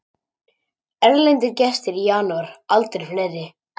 Erlendir gestir í janúar aldrei fleiri